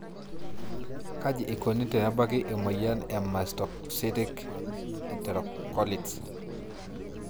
kaji eikoni tenebaki emoyian e mastocytic enterocolits?